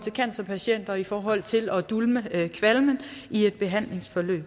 cancerpatienter i forhold til at dulme kvalmen i et behandlingsforløb